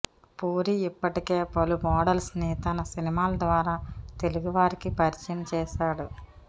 పూరి ఇప్పటికే పలు మోడల్స్ ని తన సినిమాల ద్వారా తెలుగు వారికి పరిచయం చేసాడు